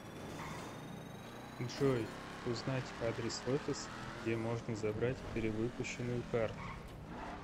джой узнать адрес офиса где можно забрать перевыпущенную карту